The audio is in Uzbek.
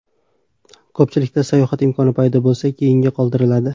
Ko‘pchilikda sayohat imkoni paydo bo‘lsa, keyinga qoldiradi.